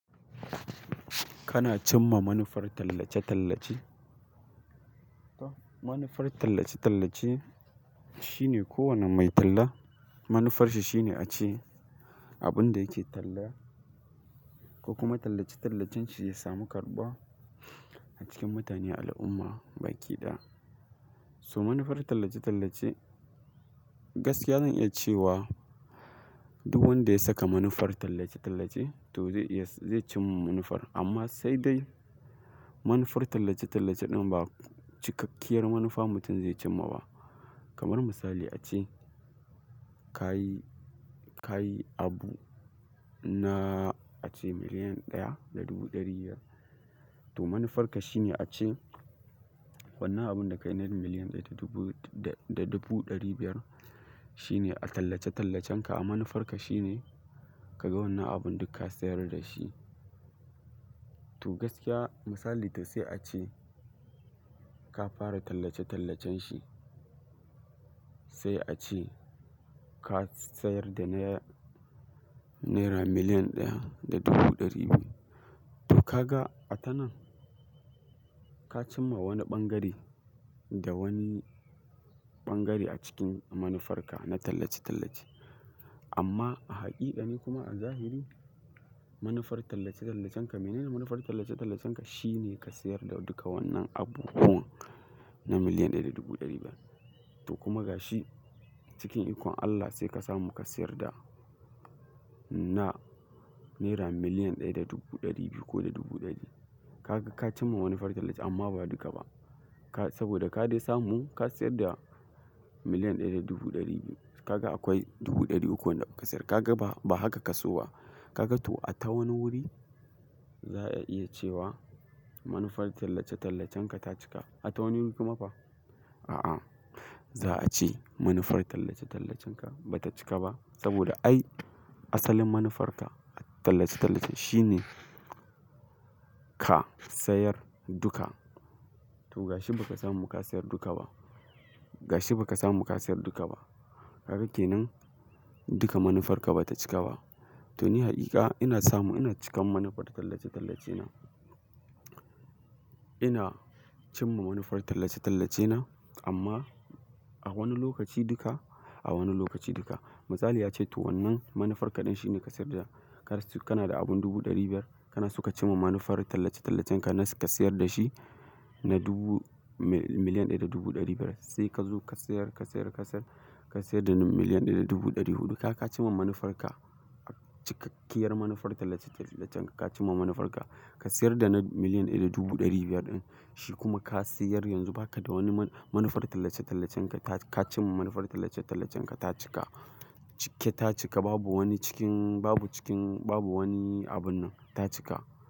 Kana cimma manufar tallace-tallace? Manufar tallace-tallace, shine ko wanne mai talla, manufarshi shine a ce abun da yake talla ko kuma tallace-tallacen shi ya samu karɓuwa, a cikin mutane al'umma baki ɗaya. So manufar tallace-tallace, gaskiya zan iya cewa duk wanda ya saka manufar tallace-tallace to zai iya, zai cimma manufar, amma sai dai manufar tallace-tallace ɗin ba cikakkiyar manufa mutum zai cimma ba. Kamar misali a ce ka yi, ka yi abu na a ce miliyan ɗaya da dubu ɗari biyar, to manufarka shine a ce wannan abun da ka yi na miliyan ɗaya da dubu da, da dubu ɗari biyar, shine a tallace-tallacen ka, a manufarka shine, ka ga wannan abun duk ka sayar da shi. To gaskiya misali, to sai a ce ka fara tallace-tallacen shi, sai a ce ka sayar da na naira miliyan ɗaya da dubu ɗari biyu, to ka ga a ta nan, ka cimma wani ɓangare da wani ɓangare a cikin manufarka na tallace-tallace. Amma a haƙiƙani kuma a zahiri, manufar tallace-tallacen ka, mene ne manufar tallace-tallacen ka? Shi ne ka sayar da duka wannan abubuwan na miliyan ɗaya da dubu ɗari biyar. To kuma ga shi cikin ikon Allah sai ka samu ka sayar da na naira miliyan ɗaya da dubu ɗari biyu ko da dubu ɗari. Ka ga ka cimma manufar tallace, amma ba duka ba. Ka, saboda ka dai samu ka sayar da miliyan ɗaya da dubu ɗari biyu. Ka ga akwai dubu ɗari uku wanda baka sayar. Ka ga ba, ba haka ka so ba. Ka ga to a ta wani wuri, za'a iya cewa manufar tallace-tallacen ka ta cika. A ta wani wuri kuma fa? A'a, za'a ce manufar tallace-tallacen ka ba ta cika ba, saboda ai asalin manufarka a tallace-tallace shine ka sayar duka. To ga shi baka samu ka sayar duka ba. Ga shi baka samu ka sayar duka ba. Kaga ke nan duka manufarka ba ta cika ba. To ni haƙiƙa, ina samu ina cikan manufar tallace-tallace na. Ina cimma manufar tallace-tallace na amma a wani lokaci duka, a wani lokaci duka. Misali a ce, to wannan manufarka ɗin shine ka sayar da, ka suna, kana da abun dubu ɗari biyar, kana so ka cimma manufar tallace-tallacen ka na ka sayar da shi na dubu, miliyan ɗaya da dubu ɗari biyar sai ka zo ka sayar, ka sayar, ka sayar, ka sayar da na miliyan ɗaya da dubu ɗari huɗu. Kaga ka cimma manufarka. Cikakkiyar manufar tallace-tallacen ka, ka cimma manufarka. Ka sayar da na miliyan ɗaya da dubu ɗari biyar ɗin, shi kuma ka sayar yanzu baka da wani manufar tallace-tallacen ka, ka cimma manufar tallace-tallacen ka ta cika. Cike ta cika babu wani cikin, babu cikin, babu wani abun nan. Ta cika.